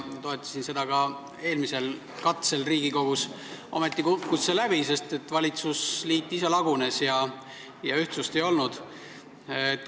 Ma toetasin seda ka eelmisel katsel Riigikogus, ometi kukkus see läbi, sest valitsusliit ise lagunes ja ühtsust ei olnud.